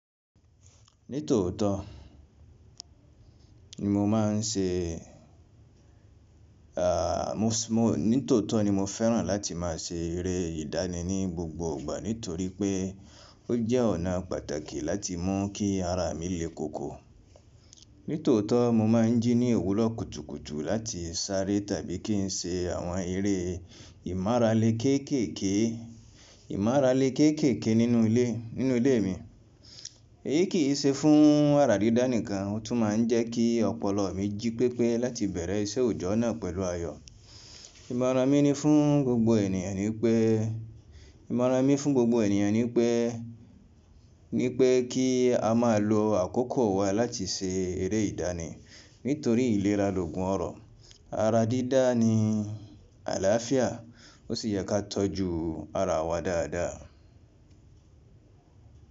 Nítòótó ni mo máa ń ṣe, nítòótó ni mo fẹ́ràn láti má a ṣe eré ìdánì ní gbogbo ìgbà, nítorí pé, ó jẹ́ ọ̀nà pàtàkì láti mún kí ara mi lé koko. Nítòótó mo máa ń jíní òwúrọ̀ kùtùkùtù láti sáré tàbí kí n ṣe àwọn eré ìmára le kéékèèké, ìmára le kéékèèké nínú ilé, nínú ilé mi. Èyí kì í ṣe fún ara dídá nìkan, ó tún máa ń jẹ́ kí ọpọlọ mi jí pépé láti bẹ̀rẹ̀ iṣẹ́ òjọ́ náà pẹ̀lú ayọ̀. Ìmọ̀ràn mi ni fún gbogbo ènìyàn ni pé, ìmọ̀ràn mi fún gbogbo ènìyàn ni pé, ni pé kí a máa lo àkókò wa láti ṣe eré ìdánì nítorí ìlera loògùn ọrọ. Ara dídá ni àlàáfíà, ó sì yẹ ká tọ́jú ara wa dáadáa.